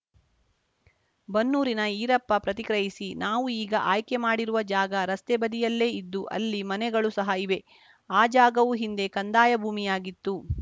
ಬನ್ನೂರಿನ ಈರಪ್ಪ ಪ್ರತಿಕ್ರಿಯಿಸಿ ನಾವು ಈಗ ಆಯ್ಕೆ ಮಾಡಿರುವ ಜಾಗ ರಸ್ತೆ ಬದಿಯಲ್ಲೇ ಇದ್ದು ಅಲ್ಲಿ ಮನೆಗಳು ಸಹ ಇವೆ ಆ ಜಾಗವು ಹಿಂದೆ ಕಂದಾಯ ಭೂಮಿಯಾಗಿತ್ತು